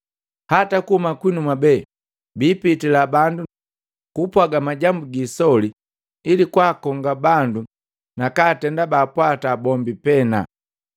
Hata kuhuma kwinu mwabe biipitila bandu nukupwaga majambu giisoli ili kwaakonga bandu nakatenda baapwata bombi pena.